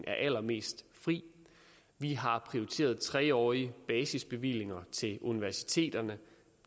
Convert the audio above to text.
er allermest fri vi har prioriteret tre årige basisbevillinger til universiteterne